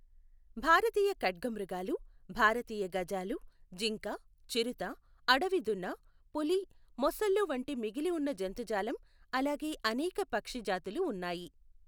భారతీయ ఖడ్గమృగాలు, భారతీయ గజాలు, జింక, చిరుత, అడవిదున్న, పులి, మొసళ్ళు వంటి మిగిలి ఉన్న జంతుజాలం అలాగే అనేక పక్షి జాతులు ఉన్నాయి.